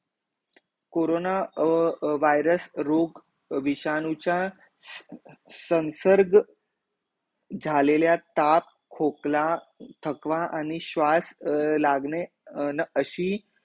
corona virus अर अर virus रोग विषाणू चा संसर्ग, झालेल्या ताप खोकला थकवा आणि श्वास लागणे न अशी